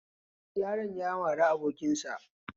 Yaron ya mari abokin sa